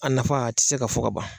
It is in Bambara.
A nafa a ti se ka fɔ ka ban.